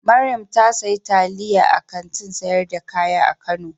Mariam ta sayi taliyan a Kantin sayar da kaya a kano.